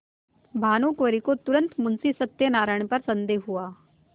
भानुकुँवरि को तुरन्त मुंशी सत्यनारायण पर संदेह हुआ